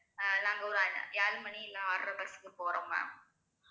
அஹ் நாங்க ஒரு ஏழு மணி இல்ல ஆறு அரை bus க்கு போறோம் ma'am